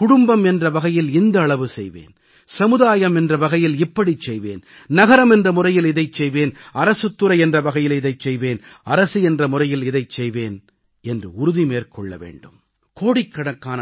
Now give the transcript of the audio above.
குடும்பம் என்ற வகையில் இந்த அளவு செய்வேன் சமுதாயம் என்ற வகையில் இப்படிச் செய்வேன் நகரம் என்ற முறையில் இதைச் செய்வேன் அரசுத் துறை என்ற வகையில் இதைச் செய்வேன் அரசு என்ற முறையில் இதைச் செய்வேன் என்று உறுதி மேற்கொள்ள வேண்டும்